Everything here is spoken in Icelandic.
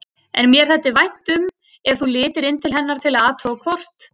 En mér þætti vænt um ef þú litir inn til hennar til að athuga hvort